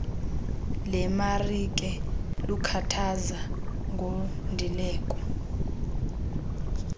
lemarike lukhathaza ngondileko